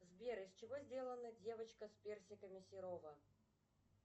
сбер из чего сделана девочка с персиками серова